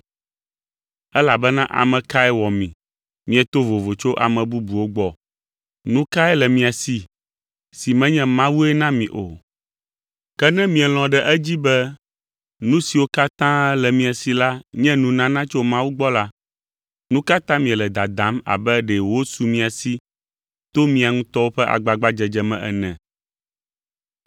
Elabena ame kae wɔ mi mieto vovo tso ame bubuwo gbɔ? Nu kae le mia si, si menye Mawue na mi o? Ke ne mielɔ̃ ɖe edzi be nu siwo katã le mia si la nye nunana tso Mawu gbɔ la, nu ka ta miele dadam abe ɖe wosu mia si to mia ŋutɔwo ƒe agbagbadzedze me ene?